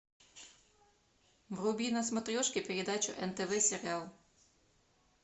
вруби на смотрешке передачу нтв сериал